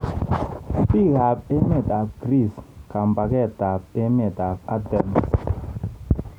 Bikab emetab Greece kambaketab emetab Athens.